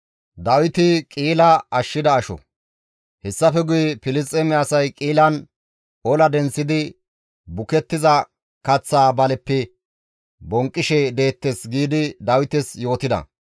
Hessafe guye, «Filisxeeme asay Qi7ilan ola denththidi bukettiza kaththaa baleppe bonqqishe deettes» giidi Dawites yootida.